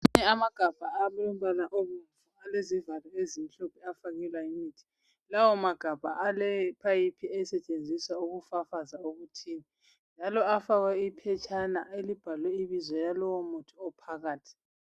Amagabha alombala obomvu alezivalo ezimhlophe afakelwa umuthi. Lawa magabha ale phayipha esetshenziswa ukufafaza imithi. Njalo afakwe iphetshana elibhalwe ibizo lolowo muthi ophakathi.